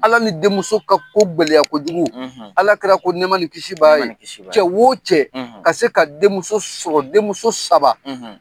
Ala ni denmuso ka ko gɛlɛya kojugu alakira ko nɛma ni kisib'a ye cɛ wo cɛ ka se ka denmuso sɔrɔ denmuso saba,